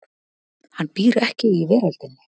Hann býr ekki í veröldinni.